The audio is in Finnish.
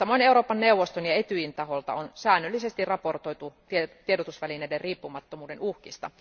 Samoin Euroopan neuvoston ja Etyjin taholta on säännöllisesti raportoitu tiedotusvälineiden riippumattomuuden uhkista.